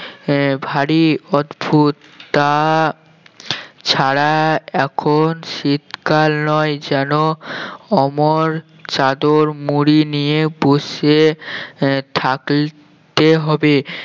আহ ভারী অদ্ভুত তাছাড়া এখন শীতকাল নয় যেন অমন চাদর মুড়ি নিয়ে বসে আহ থাকতে হবে